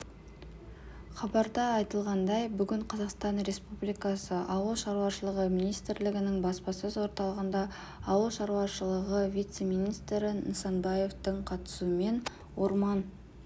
хабарда айтылғандай бүгін қазақстан республикасы ауыл шаруашылығы министрлігінің баспасөз орталығында ауыл шаруашылығы вице-министрі нысанбаевтың қатысуымен орман